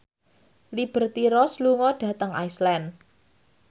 Liberty Ross lunga dhateng Iceland